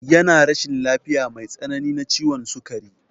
Yana rashin lafiya mai tsanani na ciwon sukari.